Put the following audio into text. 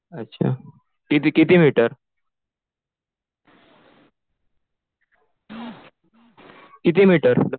अच्छा. किती किती मीटर? किती मीटर?